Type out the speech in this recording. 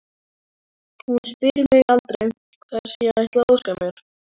Hún spyr mig aldrei hvers ég ætli að óska mér.